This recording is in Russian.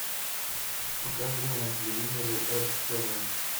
покажи мне на телевизоре эг тв